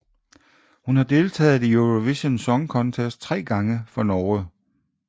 Hun har deltaget i Eurovision Song Contest tre gange for Norge